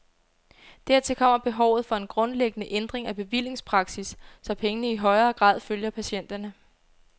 Dertil kommer behovet for en grundlæggende ændring af bevillingspraksis, så pengene i højere grad følger patienterne.